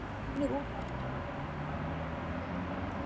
Önnur útgjöld má alla jafna ekki draga frá tekjum.